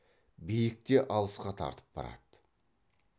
биік те алысқа тартып барады